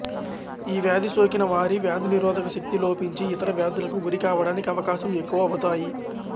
ఈ వ్యాధి సోకిన వారి వ్యాధినిరోధక శక్తి లోపించి యితర వ్యాధులకు గురి కావడానికి అవకాశం ఎక్కువ అవుతాయి